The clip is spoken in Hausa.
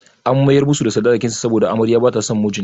An mayar musu da sadakin su saboda amaryar ba ta son mijin.